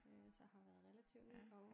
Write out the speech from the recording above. Øh så har været relativt ny i et par år